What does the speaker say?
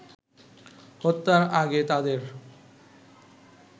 হত্যার আগে তাদের